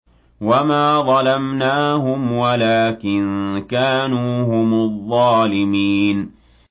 وَمَا ظَلَمْنَاهُمْ وَلَٰكِن كَانُوا هُمُ الظَّالِمِينَ